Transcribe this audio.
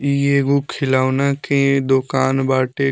इ एगो खिलौना के दोकान बाटे।